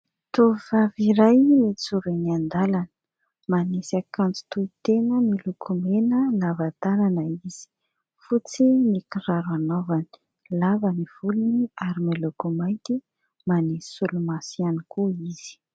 Tovovavy iray mijoro eny an-dalana, manisy akanjo tohitena miloko mena lava tanana izy, fotsy ny kiraro anaovany, lava ny volony ary miloko mainty, manisy solomaso ihany koa izy.